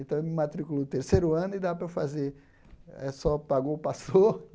Então ele me matriculou no terceiro ano e dava para eu fazer eh, só pagou, passou.